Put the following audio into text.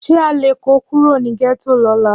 Ṣé a lè kó Kúrò ní gẹ́tò lóla